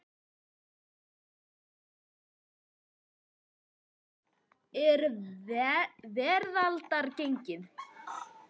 Nú sannast hið fornkveðna: Valt er veraldar gengið.